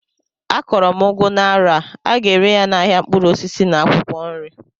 Akọrọ m ugu n'arọ a, aga ere ya n'ahịa mkpụrụ osisi na akwụkwọ nri